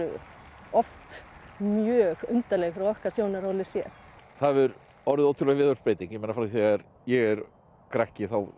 oft mjög undarleg frá okkar sjónarhóli séð það hefur orðið ótrúleg viðhorfsbreyting frá því ég er krakki